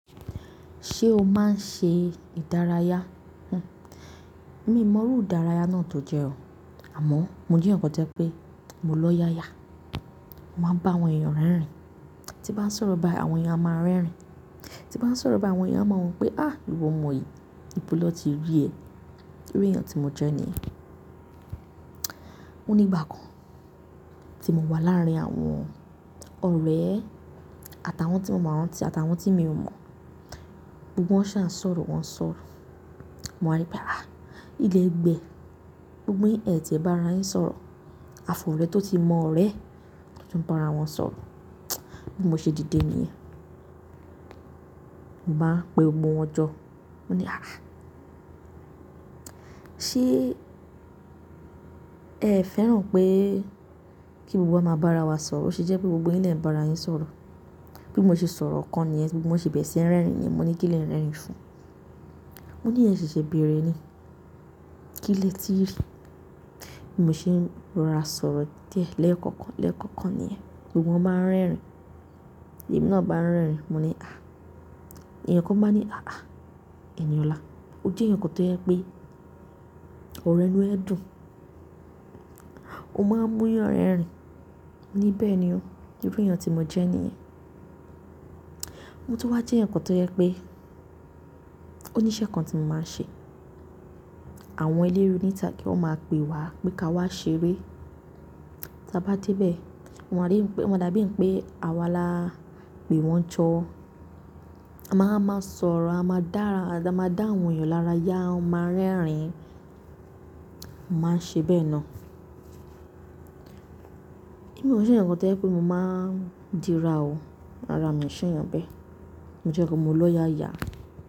Ṣé o máa ń ṣe ìdárayá? Hm, miì mọrú ìdárayá náà tó jẹ́ o, àmọ́ mo jẹ́ èèyàn kan tó jẹ́ pé mo lọ́yàyà. Mo máa ń bá àwọn èèyàn rẹ́rìn-ín, tí bá ń sọ̀rọ̀ báyìí àwọn èèyàn a máa rẹ́rìn-ín. Tí bá ń sọ̀rọ̀ báyìí àwọn èèyàn, a máa wo wípé, áàh, ìwọ ọmọ yìí, níbo ló ti rí ẹ. Irú èèyàn tí mo jẹ́ nìyẹn. Ó ní ìgbà kan tí mo wà láàrin àwọn ọ̀rẹ́, àtàwọn tí mo mọ̀ wọn ti àtàwọn tí mi ò mọ̀. Gbogbo wọn ṣá ǹ sọ̀rọ̀ wọ́n ń sọ̀rọ̀. Mo wá ní pé, áàh, ilẹ́gbẹ̀ẹ́ gbogbo yín ẹ ti ẹ̀ bá ara yín ń sọ̀rọ̀, afọ̀rẹ́ tó ti mọ ọ̀rẹ́ tó ti ń bá ara wọn sọ̀rọ̀. Bí mo ṣe díde nìyẹn. Mò báa ń pe gbogbo wọn jọ, mo ní, "Áàh, ṣé ẹ fẹ́ràn pé kí gbogbo wa máa bá ara wa sọ̀rọ̀? Ó ṣe jẹ́ pé gbogbo yín lè ń bá ara yín ń sọ̀rọ̀." Bí mo ṣe sọ̀rọ̀ ọ̀kan nìyẹn, tí wọn ṣe bẹ̀rẹ̀ sí ń rẹ́rìn-ín yẹn, mo ní kí lè ń rẹ́rìn-ín fún un. Mo ní, "ẹ ṣẹ̀ṣẹ̀ bẹ̀rẹ̀ ni. Kí lẹ tí rí?" Bí mo ṣe ń rọra sọ̀rọ̀ díẹ̀ lẹ́ẹ̀kọ̀kan lẹ́ẹ̀kọ̀kan nìyẹn, gbogbo wọn báa ń rẹ́rìn-ín. Èmi náà bá ń rẹ́rìn-ín, mo ní, "Àh." èèyàn kan báa ń ní, "Ààh, Ẹniọ̀la, o jẹ́ ǹkan tó jẹ́ pé ọ̀rọ̀ ẹnu ẹ dùn. O máa ń mú yàn rẹ́rìn-ín." moní bẹ́ẹ̀ ni o, irú èèyàn tí mo jẹ́ nìyẹn. Mo tún wá jẹ́ ǹkan tó jẹ́ pé oníṣẹ́ kan tí mo máa ń ṣe. Àwọn eléré níta gé wọn máa pè wá pé ka wá ṣeré. Tí a bá dé bẹ́ẹ̀, ọ́ ma dá bíi pé àwa la pè wọ́n jọ. A máa máa sọ̀rọ̀, a máa dá àwọn èèyàn lára yá, wọ́n máa rẹ́rìn-ín. Mo máa ń ṣe bẹ́ẹ̀ ná. Èmi òun ṣe èyànkan tó jẹ́ pé mo máa ń díra o. Rárá miò sèèyàn bẹ́ẹ̀. Mo jẹ́ ǹkan mo lọ́yàyà.